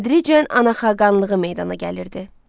Tədricən ana xaqanlığı meydana gəlirdi.